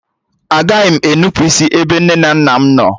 Agaghị m e nnupụisi ebe nne na nna m nọ